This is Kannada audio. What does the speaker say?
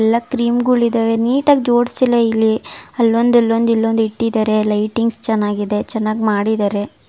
ಎಲ್ಲಾ ಕ್ರೀಮ್ ಗಳು ಇದಾವೆ ನೀಟಾಗ್ ಜೋಡಿಸಿಲ್ಲ ಇಲ್ಲಿ ಅಲ್ಲೊಂದ್ ಅಲ್ಲೊಂದ್ ಇಲ್ಲೊಂದ್ ಇಟ್ಟಿದ್ದಾರೆ ಲೈಟಿಂಗ್ಸ್ ಚೆನ್ನಾಗಿದೆ ಚೆನ್ನಾಗ್ ಮಾಡಿದ್ದಾರೆ.